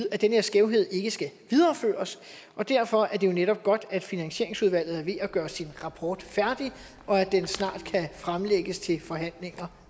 at den her skævhed ikke skal videreføres og derfor er det jo netop godt at finansieringsudvalget er ved at gøre sin rapport færdig og at den snart kan fremlægges til forhandlinger